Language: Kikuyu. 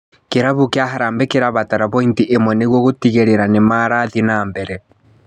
Kĩrabu kĩa Harambee kĩrabatara bointi ĩmwe nĩguo gũtigĩrĩra ni marathiĩ na mbere.